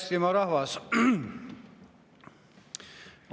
Hea Eestimaa rahvas!